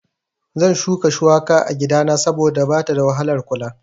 Zan shuka shuwaka a gidana saboda bata da wahalar kula